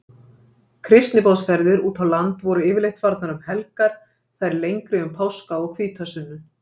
Kristniboðsferðir útá land voru yfirleitt farnar um helgar, þær lengri um páska og hvítasunnu.